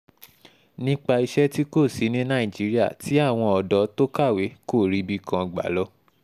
nípa iṣẹ́ tí kò sí ní nàìjíríà tí àwọn ọ̀dọ́ tó kàwé kò ríbi kan gbà lọ